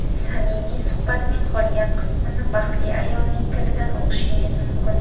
Samimiy suhbatning qolgan qismini baxtli ayolning tilidan o‘qishingiz mumkin.